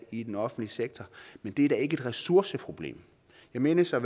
i den offentlige sektor men det er da ikke et ressourceproblem jeg mindes at